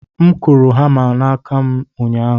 M kụrụ hama n'aka m ụnyahụ